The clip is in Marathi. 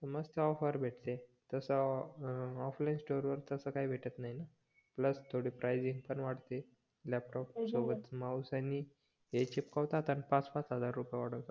मस्त ऑफर भेटते तस ऑफलाईन स्टोर वर तस काही भेटत नाही न प्लस थोड प्रायझिंग पण वाढते लॅपटॉप सोबत माउस आणि हे चीपकवतात आणि पाच पाच हजार रुपये वाढवतात